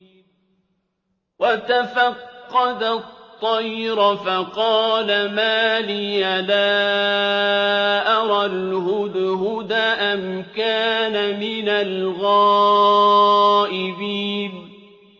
وَتَفَقَّدَ الطَّيْرَ فَقَالَ مَا لِيَ لَا أَرَى الْهُدْهُدَ أَمْ كَانَ مِنَ الْغَائِبِينَ